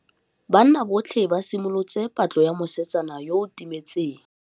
Banna botlhê ba simolotse patlô ya mosetsana yo o timetseng.